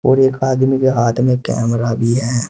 एक आदमी के हाथ में कैमरा भी है।